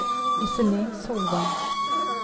Iselin Solvang